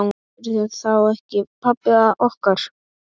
Ertu þá ekki pabbi okkar?